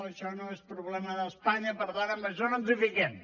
això no és problema d’espanya i per tant en això no ens fiquem